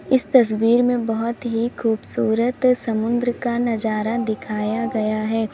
इस तस्वीर में बहुत ही खूबसूरत समुद्र का नजारा दिखाया गया हैं।